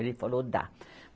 Ele falou, dá.